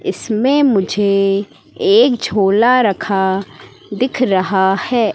इसमें मुझे एक झोला रखा दिख रहा हैं।